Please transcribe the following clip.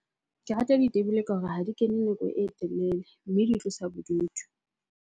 Ke rata ditebele ka hore ha di kene nako e telele, mme di tlosa bodutu.